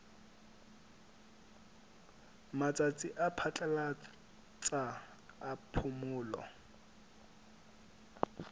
matsatsi a phatlalatsa a phomolo